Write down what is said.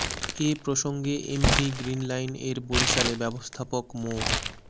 এ প্রসঙ্গে MV Green Line এর বরিশালে ব্যবস্থাপক মো